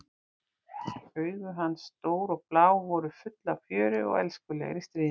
Augu hans, stór og blá, voru full af fjöri og elskulegri stríðni.